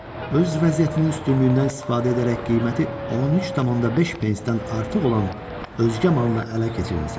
Öz vəziyyətinin üstünlüyündən istifadə edərək qiyməti 13.5 pensdən artıq olan özgə malını ələ keçirmisən.